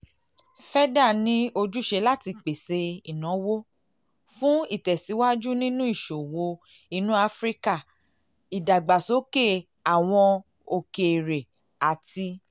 feda ní um ojúṣe láti pèsè ìnáwó láti pèsè ìnáwó fún ìtẹ̀síwájú nínú ìṣòwò inú áfíríkà ìdàgbàsókè um àwọn okeere àti